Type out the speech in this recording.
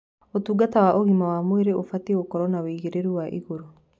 ũtungata wa ũgima wa mwĩrĩ ũbatiĩ gũkorwo na wagĩrĩru wa igũrũ.